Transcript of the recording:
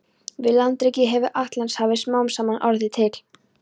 Við landrekið hefur Atlantshafið smám saman orðið til.